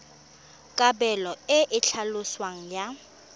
kabelo e e tlhaloswang ya